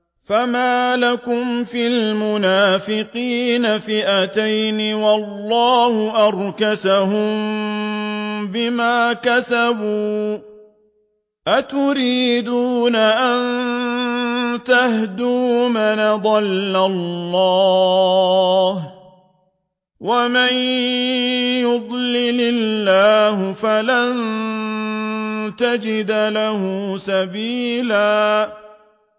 ۞ فَمَا لَكُمْ فِي الْمُنَافِقِينَ فِئَتَيْنِ وَاللَّهُ أَرْكَسَهُم بِمَا كَسَبُوا ۚ أَتُرِيدُونَ أَن تَهْدُوا مَنْ أَضَلَّ اللَّهُ ۖ وَمَن يُضْلِلِ اللَّهُ فَلَن تَجِدَ لَهُ سَبِيلًا